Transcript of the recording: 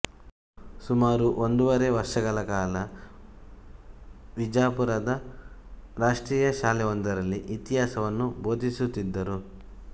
ಸುಮಾರು ಒಂದೂವರೆ ವರ್ಷಕಾಲ ವಿಜಾಪುರದ ರಾಷ್ಟ್ರೀಯ ಶಾಲೆಯೊಂದರಲ್ಲಿ ಇತಿಹಾಸವನ್ನು ಭೋಧಿಸುತ್ತಿದ್ದರು